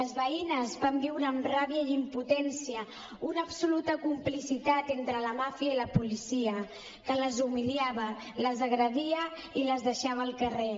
les veïnes van viure amb ràbia i impotència una absoluta complicitat entre la màfia i la policia que les humiliava les agredia i les deixava al carrer